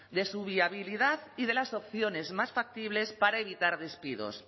de su viabilidad y de las opciones más factibles para evitar despidos